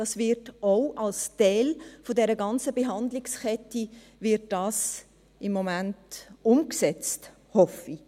Es wird als Teil der ganzen Behandlungskette im Moment umgesetzt, so hoffe ich.